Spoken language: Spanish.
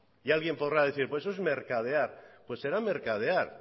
y alguien podrá decir pues eso es mercadear pues será mercadear